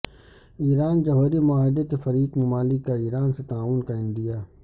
ایران جوہری معاہدے کے فریق ممالک کا ایران سے تعاون کا عندیہ